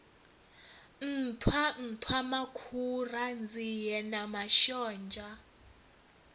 nṱhwa nṱhwamakhura nzie na mashonzha